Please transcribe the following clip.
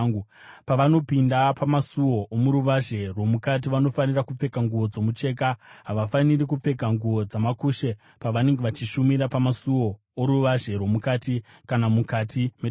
“ ‘Pavanopinda pamasuo omuruvazhe rwomukati, vanofanira kupfeka nguo dzomucheka, havafaniri kupfeka nguo dzamakushe pavanenge vachishumira pamasuo oruvazhe rwomukati kana mukati metemberi.